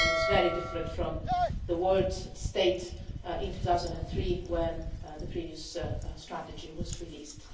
It is very different from the world's state in 2003 when the previous strategy was released.